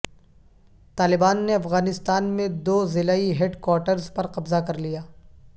طالبان نے افغانستان میں دو ضلعی ہیڈ کواٹرز پر قبضہ کر لیا